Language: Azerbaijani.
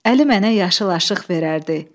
Əli mənə yaşıl aşiq verərdi.